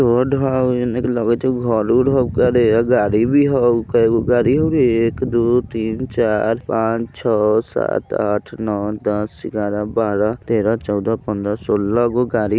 रोड हो इने लगत हो घर उर हय गाड़ी भी हो कै गो गाड़ी हो एक दो तीन चार पाँच छह सात आठ नौ दस ग्यारह बारह तेरह चौदह पंद्रह सोलह गो गाड़ी --